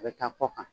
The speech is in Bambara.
A bɛ taa kɔ kan